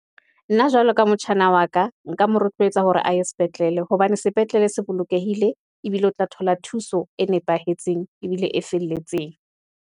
Nna jwalo ka motjhana wa ka , nka mo rotlwetsa hore a ye sepetlele, hobane sepetlele se bolokehile, ebile o tla thola thuso e nepahetseng, ebile e felletseng.